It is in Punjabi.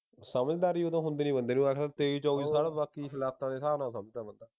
ਸਮਝਦਾਰੀ ਉਹ ਤਾਂ ਹੁੰਦੀ ਨੀ ਬੰਦੇ ਕੋਲ ਤੇਈ ਚੌਵੀ ਸਾਲ ਬਾਕੀ ਹਾਲਾਤਾਂ ਦੇ ਹਿਸਾਬ ਨਾਲ ਸਮਝਦਾ ਬੰਦਾ